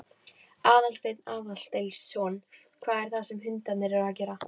Aðalsteinn Aðalsteinsson: Hvað er það sem hundarnir eru að gera?